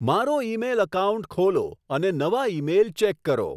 મારો email account ખોલો અને નવા ઈમેઈલ ચેક કરો